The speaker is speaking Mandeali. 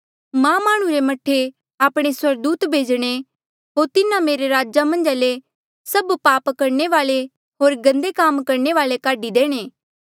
मां माह्णुं रे मह्ठे आपणे स्वर्गदूत भेजणे होर तिन्हा मेरे राजा मन्झा ले सभ पाप करणे वाल्ऐ होर गन्दे काम करणे वाल्ऐ काढी देणे